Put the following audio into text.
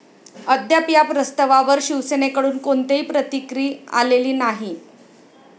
अद्याप या प्रस्तवावर शिवसेनेकडून कोणतीही प्रतिक्रि आलेली नाही.